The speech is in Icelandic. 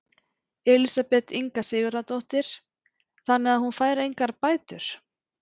Elísabet Inga Sigurðardóttir: Þannig að hún fær engar bætur?